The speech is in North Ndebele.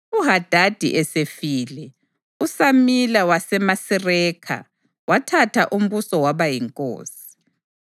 UHadadi esefile, uSamila waseMasirekha wathatha umbuso waba yinkosi.